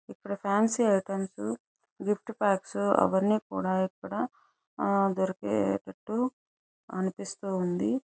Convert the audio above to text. ఇక్కడ fancy items gift packs అవన్నీ కూడా ఇక్కడ ఆ దొరికేతట్టు అనిపిస్తుంది.